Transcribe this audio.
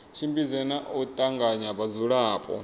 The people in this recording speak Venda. tshimbidze na u tanganya vhadzulapo